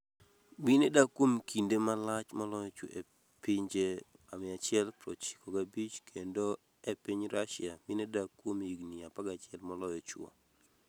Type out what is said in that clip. Mine dak kuom kinde malach moloyo chwo e pinje 195 kendo e piny Rusia mine dak kuom higni 11 moloyo chwo.